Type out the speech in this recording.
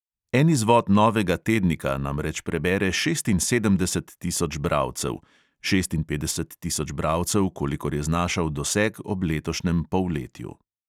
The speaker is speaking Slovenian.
En izvod novega tednika namreč prebere šestinsedemdeset tisoč bralcev (šestinpetdeset tisoč bralcev, kolikor je znašal doseg ob letošnjem polletju).